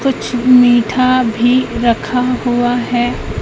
कुछ मीठा भी रखा हुआ है।